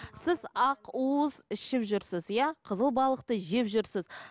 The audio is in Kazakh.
сіз ақ уыз ішіп жүрсіз иә қызыл балықты жеп жүрсіз